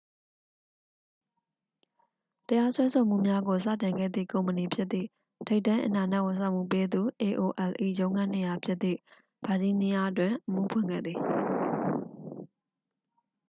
တရားစွဲဆိုမှုများကို စတင်ခဲ့သည့် ကုမ္ပဏီဖြစ်သည့် ထိပ်တန်း အင်တာနက် ဝန်ဆောင်မှုပေးသူ aol ၏ ရုံးခန်းနေရာ ဖြစ်သည့် ဗာဂျီးနီးယားတွင် အမှုဖွင့်ခဲ့သည်